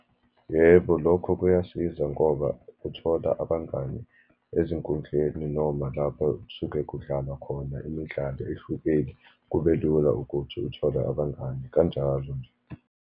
Yebo, lokho kuyasiza ngoba uthola abangani ezinkundleni, noma lapho kusuke kudlalwa khona imidlalo ehlukeli, kube lula ukuthi uthole abangani, kanjalo nje.